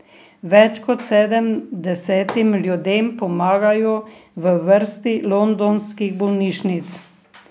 Več kot sedemdesetim ljudem pomagajo v vrsti londonskih bolnišnic.